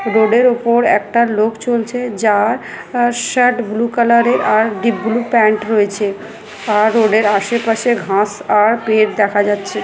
রোডের উপর একটা লোক চলছে যার আ শার্ট ব্লু কালারের আর ডিপ ব্লু প্যান্ট রয়েছে আর রোডের আশেপাশে ঘাস আর পেট দেখা যাচ্ছে।